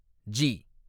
G